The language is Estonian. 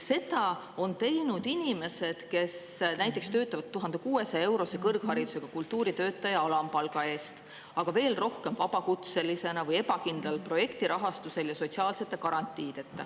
Seda on teinud inimesed, kes töötavad näiteks kõrgharidusega kultuuritöötaja 1600‑eurose alampalga eest, aga veel rohkem on nende seas vabakutselisi või neid, kes saavad ebakindlat projektirahastust ja on sotsiaalsete garantiideta.